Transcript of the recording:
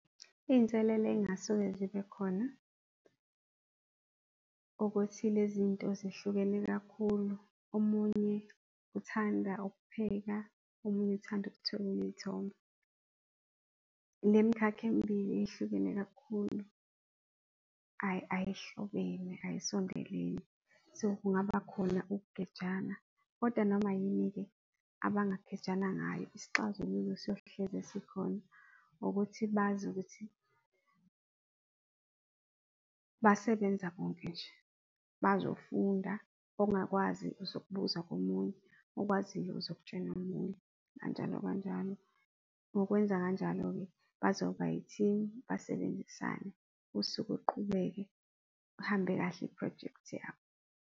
Iyinselelo eyingasuke zibe khona ukuthi le zinto zihlukene kakhulu, omunye uthanda ukupheka, omunye uthanda ukuthwebula iyithombe. Lemkhakha emibili yehlukene kakhulu ayihlobene, ayisondelene, so kungaba khona ukugejana kodwa noma yini-ke abangagejana ngayo isixazululo siyohlezi sikhona ukuthi bazi ukuthi basebenza bonke nje bazofunda ongakwazi uzok'buza komunye, okwaziyo uzokutshena omunye kanjalo, kanjalo, ngokwenza kanjalo-ke bazoba i-team basebenzisane usuku luqhubeke ihambe kahle iphrojekthi yabo.